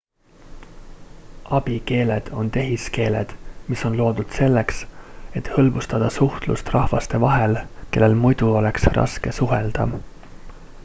abikeeled on tehiskeeled mis on loodud selleks et hõlbustada suhtlust rahvaste vahel kellel muidu oleks raske suhelda